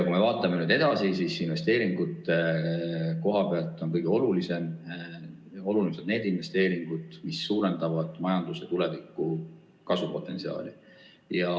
Kui me vaatame edasi, siis investeeringute koha pealt on kõige olulisemad need investeeringud, mis suurendaksid tulevikus majanduse kasvupotentsiaali.